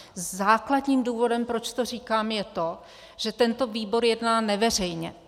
Základním důvodem, proč to říkám, je to, že tento výbor jedná neveřejně.